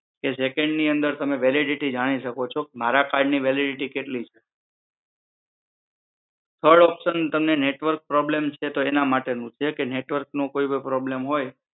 કે સેકન્ડ ની અંદર તમે વેલિડિટી જાણી શકો છો મારા કાર્ડ ની વેલિડિટી કેટલી છે થડ ઓપ્શન તમને નેટવર્ક પ્રોબ્લેમ છે તો એના માટે નું છે કે નેટવર્ક કોઈ ભી પ્રોબ્લેમ હોય